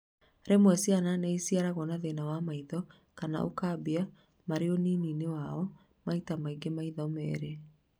Rĩmwe ciana nĩ ĩciarĩgwo na thĩna wa maitho kana ukambia marĩunini-inĩ wao maita naingĩ maitho merĩ